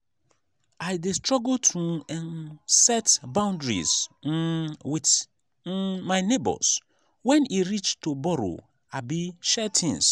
i dey struggle to um set boundaries um with um my neighbors wen e reach to borrow abi share things.